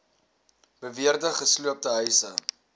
beweerde gesloopte huise